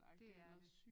Det er det